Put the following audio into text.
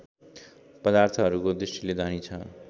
पदार्थहरूको दृष्टिले धनी छ